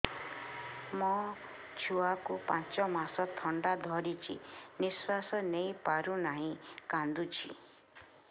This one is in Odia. ମୋ ଛୁଆକୁ ପାଞ୍ଚ ମାସ ଥଣ୍ଡା ଧରିଛି ନିଶ୍ୱାସ ନେଇ ପାରୁ ନାହିଁ କାଂଦୁଛି